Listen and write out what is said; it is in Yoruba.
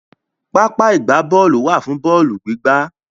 Pápá ìgbábọ́ọ̀lù wà fún bọ́ọ̀lù gbígbá.